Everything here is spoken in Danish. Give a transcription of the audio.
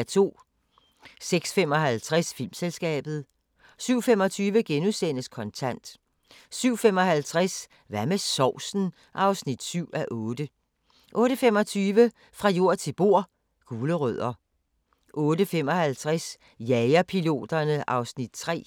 06:55: Filmselskabet 07:25: Kontant * 07:55: Hvad med sovsen? (7:8) 08:25: Fra jord til bord: Gulerødder 08:55: Jagerpiloterne (Afs. 3)